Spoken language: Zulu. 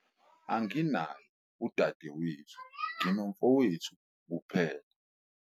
anginaye udadewethu, nginomfowethu kuphela